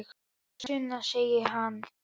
Jæja, Sunna, segir hann.